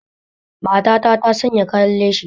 Matata ta sanya kayan lashi